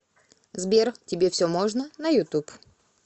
сбер тебе все можно на ютуб